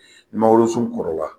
Mangorosun kɔrɔla